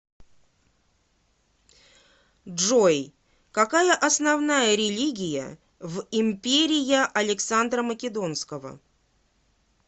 джой какая основная религия в империя александра македонского